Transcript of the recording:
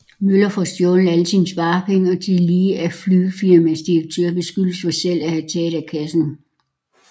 Møller får stjålet alle sine sparepenge og tillige af flygelfirmaets direktør beskyldes for selv at have taget af kassen